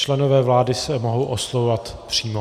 Členové vlády se mohou oslovovat přímo.